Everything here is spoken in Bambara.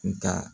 Nga